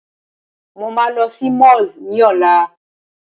Mo máa lọ sí Mall ní Ọ̀la.